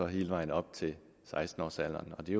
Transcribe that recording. hele vejen op til seksten årsalderen og det